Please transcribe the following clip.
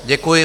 Děkuji.